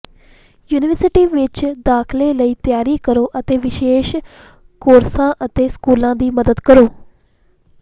university ਵਿਚ ਦਾਖਲੇ ਲਈ ਤਿਆਰੀ ਕਰੋ ਅਤੇ ਵਿਸ਼ੇਸ਼ ਕੋਰਸਾਂ ਅਤੇ ਸਕੂਲਾਂ ਦੀ ਮਦਦ ਕਰੋ